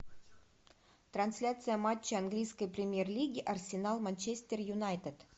трансляция матча английской премьер лиги арсенал манчестер юнайтед